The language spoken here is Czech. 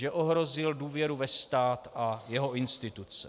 Že ohrozil důvěru ve stát a jeho instituce.